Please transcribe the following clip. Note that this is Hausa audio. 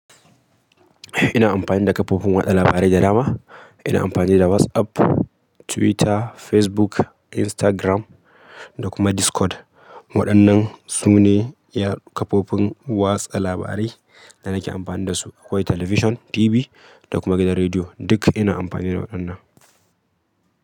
Ina amfani da kafofin watsa labarai da dama. Ina amfani da WhatsApp, Twitter, Facebook, Instagram da kuma Discord. Waɗannan su ne kafofin watsa labarai da nake amfani da su. Akwai television, TV da kuma gidan rediyo. Duk ina amfani da waɗannan.